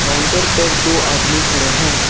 Counter पर दो आदमी खड़े हैं।